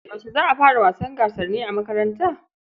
Yaushe za a fara gasar wasanni a makaranta?